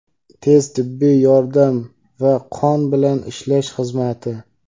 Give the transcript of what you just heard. tez tibbiy yordam va qon bilan ishlash xizmati;.